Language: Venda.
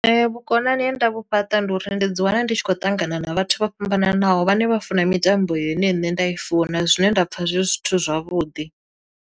Vhukonani he nda vhu fhaṱa ndi uri ndi dzi wana ndi tshi khou ṱangana na vhathu vho fhambananaho vhane vha funa mitambo ine nṋe nda i funa zwine nda pfha zwe zwithu zwavhuḓi.